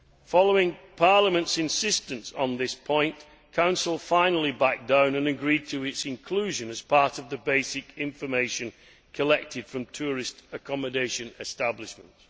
Following Parliament's insistence on this point, Council finally backed down and agreed to its inclusion as part of the basic information collected from tourist accommodation establishments.